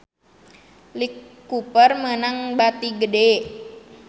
Lee Cooper meunang bati gede